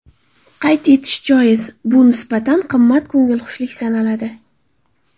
Qayd etish joiz, bu nisbatan qimmat ko‘ngilxushlik sanaladi.